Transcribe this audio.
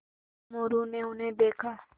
मोरू ने उन्हें देखा